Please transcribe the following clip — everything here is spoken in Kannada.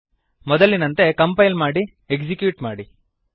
ಮೊದಲಿನಂತೆ ಕಂಪೈಲ್ ಮಾಡಿ ಎಕ್ಸಿಕ್ಯೂಟ್ ಮಾಡಿ